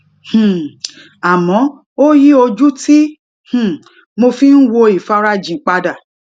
um àmó ó yí ojú tí um mo fi ń wo ifarajin padà